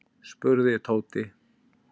spurði Tóti.